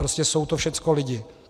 Prostě jsou to všechno lidi.